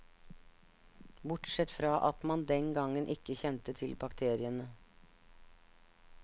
Bortsett fra at man den gangen ikke kjente til bakteriene.